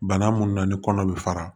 Bana munnu na ni kɔnɔ bɛ fara